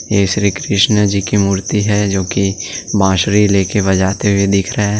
श्री कृष्ण जी की मूर्ति है जो कि बांसुरी लेकर बजाते हुए दिख रहा है।